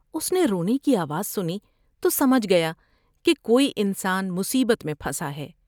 اس نے رونے کی آواز سنی تو سمجھ گیا کہ کوئی انسان مصیبت میں پھنسا ہے ۔